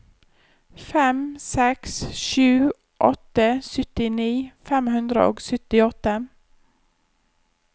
fem seks sju åtte syttini fem hundre og syttiåtte